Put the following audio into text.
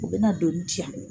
O bɛ na donni di yan.